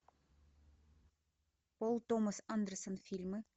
пол томас андерсон фильмы